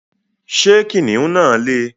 Ṣé kìnnìún náà lè?